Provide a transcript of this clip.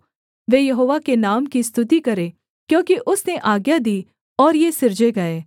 वे यहोवा के नाम की स्तुति करें क्योंकि उसने आज्ञा दी और ये सिरजे गए